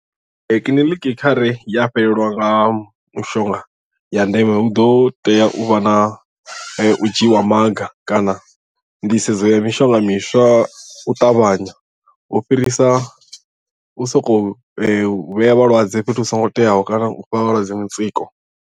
Kiḽiniki kha re ya fhelelwa nga mushonga ya ndeme hu ḓo tea u vha na u dzhiiwa ha maga kana nḓisedzo ya mishonga miswa u ṱavhanya u fhirisa u sokou vhea vhalwadze fhethu hu songo teaho kana u fha vhalwadze mutsiko.